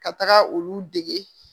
Ka taga olu dege